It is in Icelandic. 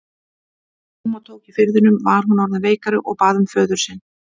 Þegar húma tók í firðinum var hún orðin veikari og bað um föður sinn.